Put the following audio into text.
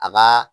A ka